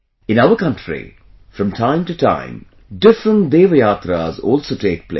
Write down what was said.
In our country, from time to time, different Devyatras also take place